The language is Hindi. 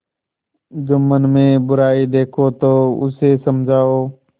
जुम्मन में बुराई देखो तो उसे समझाओ